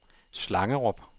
Slangerup